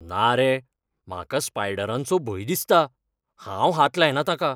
ना रे! म्हाका स्पायडरांचो भंय दिसता. हांव हात लायना ताका.